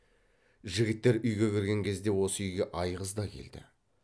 жігіттер үйге кірген кезде осы үйге айғыз да келді